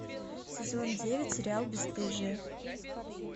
сезон девять сериал бесстыжие